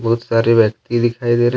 बहुत सारे व्यक्ति दिखाई दे रहे है।